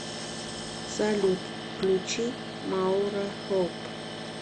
салют включи маура хоуп